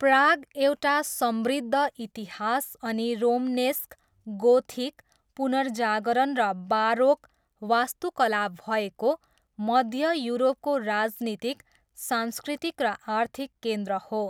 Prague एउटा समृद्ध इतिहास अनि रोमनेस्क, गोथिक, पुनर्जागरण र बारोक वास्तुकला भएको मध्य युरोपको राजनीतिक, सांस्कृतिक र आर्थिक केन्द्र हो।